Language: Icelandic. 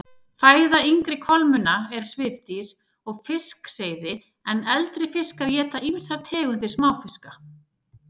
Fæða yngri kolmunna er svifdýr og fiskseiði en eldri fiskar éta ýmsar tegundir smáfiska.